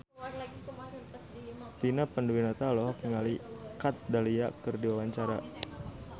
Vina Panduwinata olohok ningali Kat Dahlia keur diwawancara